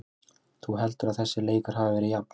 Þú heldur að þessi leikur hafi verið jafn?